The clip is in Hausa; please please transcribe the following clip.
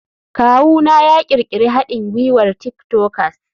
Kawuna ya ƙirƙiri haɗin gwiwar tik tokers.